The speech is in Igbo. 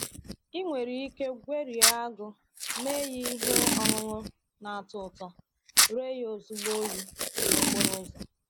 Ị nwere ike gwerie agụ mee ihe ọṅụṅụ na-atọ ụtọ, ree ya ozigbo oyi n’okporo ụzọ.